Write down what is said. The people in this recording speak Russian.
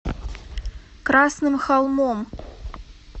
красным холмом